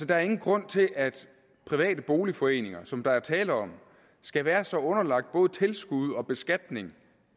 der er ingen grund til at private boligforeninger som der er tale om skal være så underlagt både tilskud og beskatning